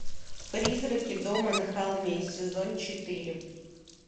призраки дома на холме сезон четыре